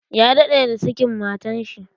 Ya daɗe da sakin matan shi.